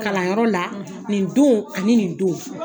Kalanyɔrɔ la; nin don ani nin don